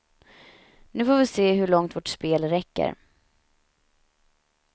Nu får vi se hur långt vårt spel räcker.